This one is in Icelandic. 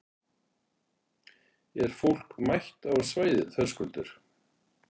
Er fólk mætt á svæðið, Höskuldur?